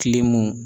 Kile mɔ